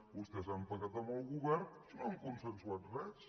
vostès han pactat amb el govern i no han consensuat res